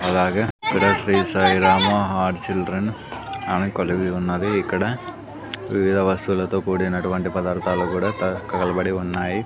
అలాగే ఈడ Shri Sai Rama heart children అని కలిగి ఉన్నది ఇక్కడ వివిధ వస్తువులతో కూడినటువంటి పదార్థాలు కూడా తగలబడి ఉన్నాయి.